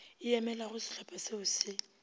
e emelago šehlopha šeo še